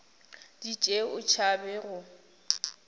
di tšee o tšhaba go